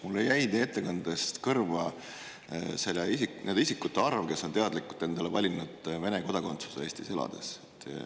Mulle jäi teie ettekandest kõrva nende isikute arv, kes on Eestis elades teadlikult valinud endale Vene kodakondsuse.